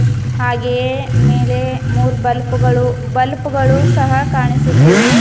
ಹಾಗೆಯೇ ಮೇಲೆ ಮೂರು ಬಲ್ಫ್ ಗಳು ಬಲ್ಪ್ ಗಳು ಸಹ ಕಾಣಿಸುತ್ತಿವೆ.